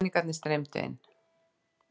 Peningarnir streymdu inn.